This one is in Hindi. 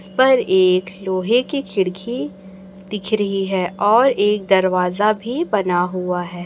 उसपर एक लोहे की खिड़खी दिख रही है और एक दरवाजा भी बना हुआ है।